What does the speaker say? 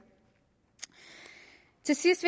til sidst